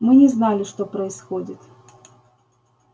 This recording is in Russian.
мы не знали что происходит